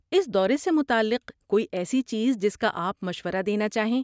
اس دورے سے متعلق کوئی ایسی چیز جس کا آپ مشورہ دینا چاہیں؟